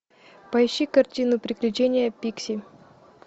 поищи картину приключения пикси